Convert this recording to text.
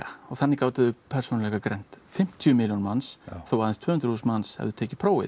og þannig gátu þeir persónuleikagreint fimmtíu milljón manns þó að aðeins tvö hundruð þúsund manns hafi tekið prófið